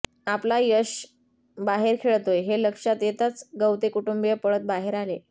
आपला यश बाहेर खेळतोय हे लक्षात येताच गवते कुटुंबीय पळत बाहेर आले